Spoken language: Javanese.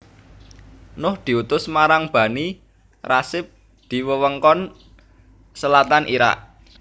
Nuh diutus marang Bani Rasib di wewengkon Selatan Iraq